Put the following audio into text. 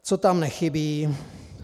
Co tam nechybí?